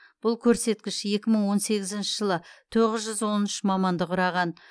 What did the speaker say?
бұл көрсеткіш екі мың он сегізінші жылы тоғыз жүз он үш маманды құраған